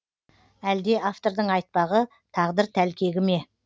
әлде автордың айтпағы тағдыр тәлкегі ме